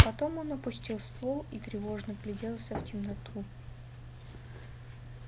потом он опустил ствол и тревожно вгляделся в темноту